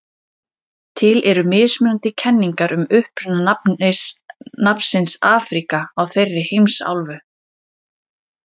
til eru mismunandi kenningar um uppruna nafnsins afríka á þeirri heimsálfu